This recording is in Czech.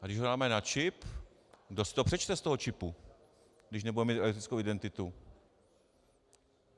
A když ho dáme na čip, kdo si to přečte z toho čipu, když nebude mít elektronickou identitu?